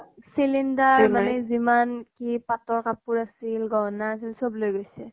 cylinder মানে যিমান কি পাতৰ কাপোৰ আছিল, গহনা আছিল চব লৈ গৈছে।